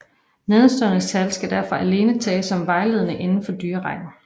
Nedenstående tal skal derfor alene tages som vejledende inden for dyrerækken